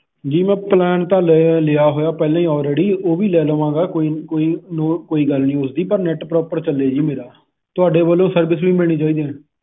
ਜੀ ਮੈਂ ਪਲਾਨ ਤਾ ਲਿਆ ਹੋਇਆ ਪਹਿਲਾ ਹੀ already ਉਹ ਵੀ ਲੈ ਲਵਾ ਗਾ ਕੋਇਨੀ ਕੋਇਨੀ ਕੋਈ ਗੱਲ ਨਹੀ ਉਸਦੀ ਪਰ net proper ਚਲੇ ਜੀ ਮੇਰਾ ਤੁਹਾਡੇ ਵਲੋਂ ਵੀ service ਵੀ ਮਿਲਣੀ ਚਾਹੀਦੀ ਆ ।